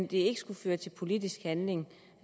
det skulle føre til politisk handling